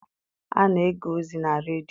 A na-ege ozi na redio.